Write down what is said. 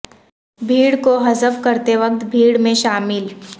بھیڑ کو حذف کرتے وقت بھیڑ میں شامل ل